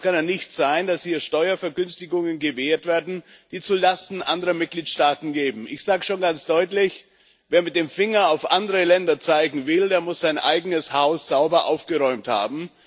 Es kann ja nicht sein, dass hier Steuervergünstigungen gewährt werden, die zulasten anderer Mitgliedstaaten gehen. Ich sage schon ganz deutlich Wer mit dem Finger auf andere Länder zeigen will, der muss sein eigenes Haus sauber aufgeräumt haben.